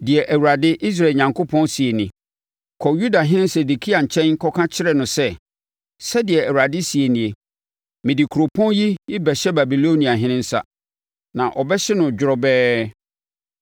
“Deɛ Awurade, Israel Onyankopɔn seɛ nie: Kɔ Yudahene Sedekia nkyɛn na kɔka kyerɛ no sɛ, ‘Sɛdeɛ Awurade seɛ nie: Mede kuropɔn yi rebɛhyɛ Babiloniahene nsa, na ɔbɛhye no dworobɛɛ.